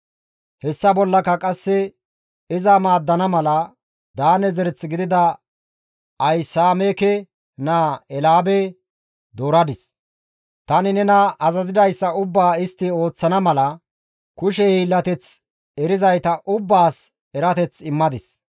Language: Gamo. «Hessa bollaka qasse iza maaddana mala, Daane zereth gidida Ahisaameke naa Eelaabe dooradis. Tani nena azazidayssa ubbaa istti ooththana mala, kushe hiillateth erizayta ubbaas erateth immadis.